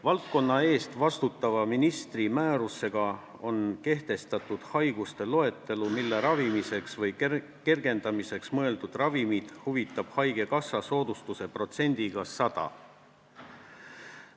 Valdkonna eest vastutava ministri määrusega on kehtestatud haiguste loetelu, mille ravimiseks või kergendamiseks mõeldud ravimid hüvitab haigekassa soodustuse protsendiga 100.